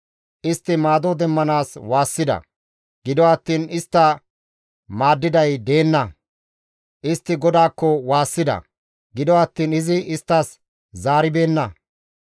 Istti maado demmanaas waassida; gido attiin istta maaddiday deenna; istti GODAAKKO waassida; gido attiin izi isttas zaaribeenna.